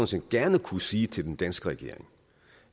set gerne kunne sige til den danske regering